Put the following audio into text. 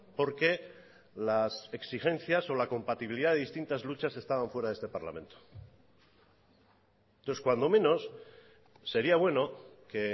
porque las exigencias o la compatibilidad de distintas luchas estaban fuera de este parlamento entonces cuando menos sería bueno que